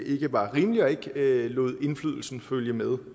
ikke var rimelig og ikke lod indflydelsen følge med